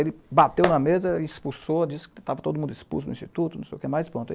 Ele bateu na mesa, expulsou, disse que estava todo mundo expulso do Instituto.